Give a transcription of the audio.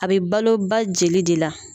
A be balo ba jeli de la.